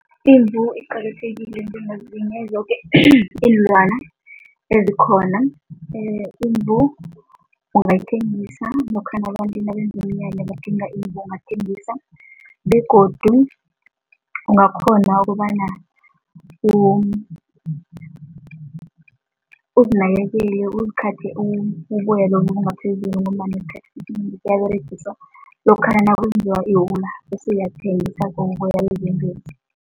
Imvu iqakathekile njengezinye zoke iinlwana ezikhona. Imvu ungayithengisa lokha abantu nabenze umnyanya badinga imvu, ungathengisa begodu ungakghona ukobana uzinakekele uzikhathe uboya ngombana esikhathini esinengi buyaberegiswa lokha nakwenziwa iwula bese uyabuthengisa